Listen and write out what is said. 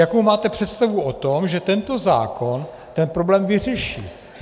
Jakou máte představu o tom, že tento zákon ten problém vyřeší?